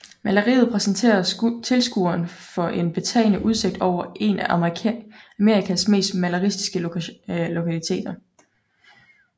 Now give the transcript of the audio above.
Maleriet præsenterer tilskueren for en betagende udsigt over en af Amerikas mest maleriske lokaliteter